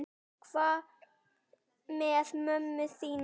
Hvað með mömmu þína?